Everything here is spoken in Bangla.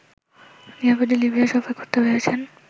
নিরাপদে লিবিয়া সফর করতে পেরেছেন